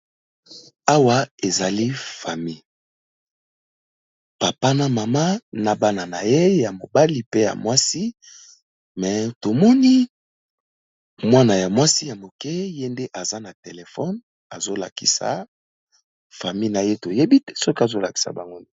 Awa ezali famille papa na mama na bana na ye ya mobali pe ya mwasi, mais tomoni mwana ya mwasi ya moke ye nde aza na telefone azo lakisa famille na ye toyebi te soki azo lakisa bango nini.